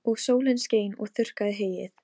Og aðrir þurfa að gjalda fyrir okkar syndir.